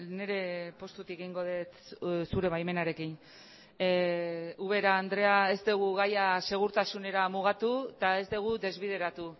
nire postutik egingo dut zure baimenarekin ubera andrea ez dugu gaia segurtasunera mugatu eta ez dugu desbideratu